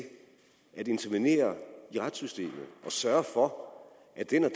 at intervenere i retssystemet og sørge for